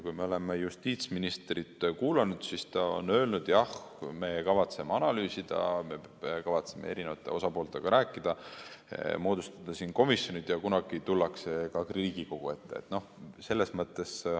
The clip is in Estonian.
Kui me oleme justiitsministrit kuulanud, siis ta on öelnud, et jah, me kavatseme analüüsida, kavatseme eri osapooltega rääkida, moodustada komisjonid ja kunagi tullakse ka Riigikogu ette.